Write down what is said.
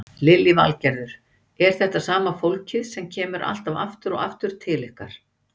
Lillý Valgerður: Er þetta sama fólkið sem kemur alltaf aftur og aftur til ykkar?